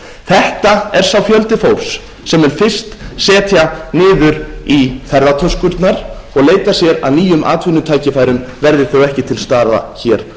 þetta er sá fjöldi fólks sem mun fyrst setja niður í ferðatöskurnar og leita sér að nýjum atvinnutækifærum verði þau ekki til staðar hér